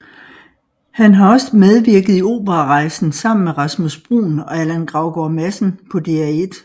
Han har også medvirket i Operarejsen sammen med Rasmus Bruun og Allan Gravgaard Madsen på DR1